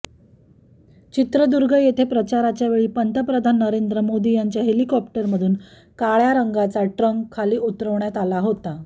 चित्रदुर्ग येथे प्रचारावेळी पंतप्रधान नरेंद्र मोदी यांच्या हेलिकॉप्टरमधून काळ्या रंगाचा ट्रंक खाली उतरवण्यात आला होता